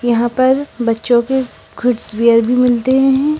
यहां पर बच्चों के गुड वियर भी मिलते हैं।